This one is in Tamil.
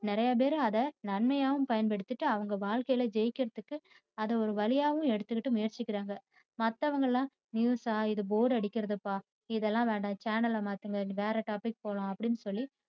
நிறையபேர் அத நன்மையாவும் பயன்படுத்திட்டு அவங்க வாழ்க்கையில ஜெய்க்கிறதுக்கு அத ஒரு வழியாவும் எடுத்திட்டு முயற்சிக்கிறாங்க. மத்தவங்கயெல்லாம் news ஸா இது bore அடிக்கிறதுபா இதெல்லாம் வேண்டாம் channel அ மாத்துங்க வேற topic போலாம் அப்படின்னுசொல்லி